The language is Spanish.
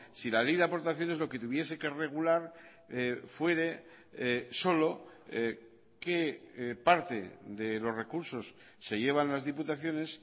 si la ley de aportaciones lo que tuviese que regular fuere solo qué parte de los recursos se llevan las diputaciones